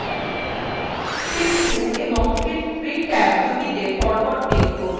sheet 2 এবং sheet 3 ট্যাবদুটিতে পরপর click করুন